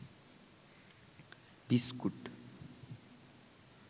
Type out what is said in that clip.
biscuit